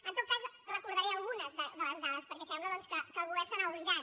en tot cas recordaré algunes de les dades perquè sembla doncs que el govern se n’ha oblidat